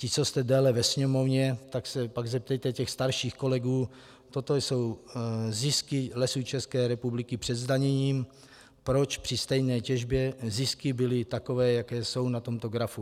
Vy, co jste déle ve Sněmovně, tak se pak zeptejte těch starších kolegů - toto jsou zisky Lesů České republiky před zdaněním - proč při stejné těžbě zisky byly takové, jaké jsou na tomto grafu.